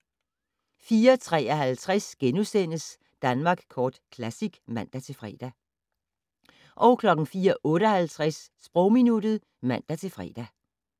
04:53: Danmark Kort Classic *(man-fre) 04:58: Sprogminuttet (man-fre)